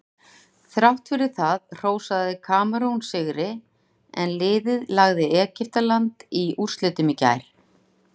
Þrátt fyrir það hrósaði Kamerún sigri en liðið lagði Egyptaland í úrslitum í gær.